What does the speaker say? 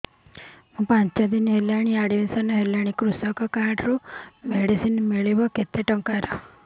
ମୁ ପାଞ୍ଚ ଦିନ ହେଲାଣି ଆଡ୍ମିଶନ ହେଲିଣି କୃଷକ କାର୍ଡ ରୁ ମେଡିସିନ ମିଳିବ କେତେ ଟଙ୍କାର